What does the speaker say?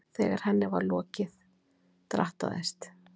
Þegar henni var lokið drattaðist